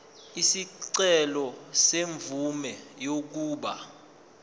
isicelo semvume yokuba